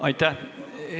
Aitäh!